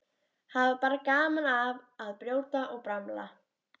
Hafa bara gaman af að brjóta og bramla.